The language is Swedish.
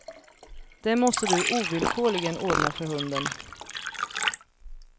Det måste du ovillkorligen ordna för hunden.